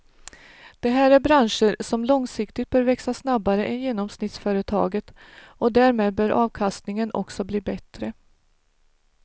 Det här är branscher som långsiktigt bör växa snabbare än genomsnittsföretaget och därmed bör avkastningen också bli bättre.